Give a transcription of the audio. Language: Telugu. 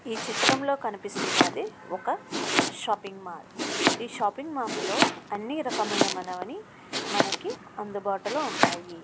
ఈ చిత్రంలో కనిపిస్తున్నది ఒక షాపింగ్ మాల్ ఈ షాపింగ్ మాల్ అన్ని రకములైన వస్తువులు లభిస్తాయి.